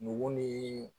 Nugu ni